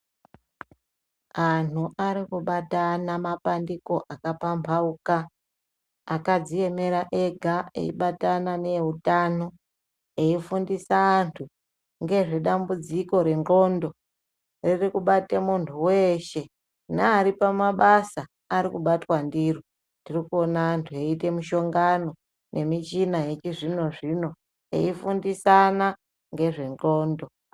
Anhu arikubatana mapandauko akapamhauka akadziemera ega eibatana neeutano eifundisa anhu ngezvedambudziko redhlondo ririkubata munhu weshe neari pamabasa arikubatwa ndiro ,tirikouna anhu eite mishongano nemichina yechizvinozvino eifundisana ngezvendxondo.